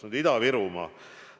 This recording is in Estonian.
Nüüd Ida-Virumaa.